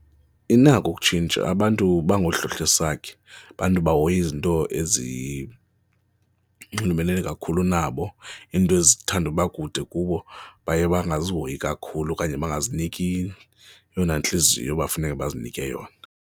Inako ukutshintsha abantu bangahlohlesakhe, bantu bahoya izinto ezinxulumene kakhulu kunabo, iinto ezithanda uba kude kubo baye bangazihoyi kakhulu okanye angaziniki yona intliziyo ebafuneke bazinike yona.